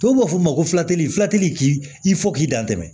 Tubabu b'a fɔ o ma ko fulatulilakili k'i fɔ k'i dantɛ